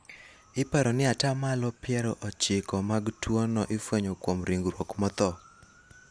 iparo ni ata malo piero ochiko mag tuono ifwenyo kuom ringruok motho